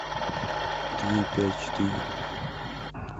три пять четыре